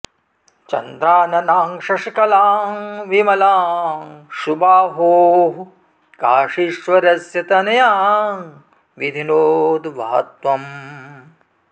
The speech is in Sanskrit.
चन्द्राननां शशिकलां विमलां सुबाहोः काशीश्वरस्य तनयां विधिनोद्वह त्वम्